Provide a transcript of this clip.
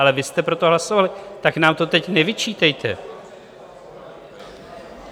Ale vy jste pro to hlasovali, tak nám to teď nevyčítejte!